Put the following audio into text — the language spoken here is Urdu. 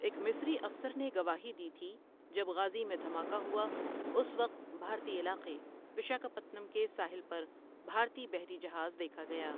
ایک مصری افسر نے گواہی دی تھی جب غازی میں دھماکا ہوا، اس وقت بھارتی علاقے وکشاپتنم کے ساحل پربھارتی بحری جہاز دیکھا گیا ۔